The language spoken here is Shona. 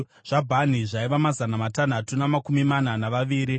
zvaBhani zvaiva mazana matanhatu namakumi mana navaviri;